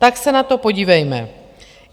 Tak se na to podívejme.